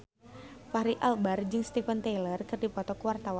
Fachri Albar jeung Steven Tyler keur dipoto ku wartawan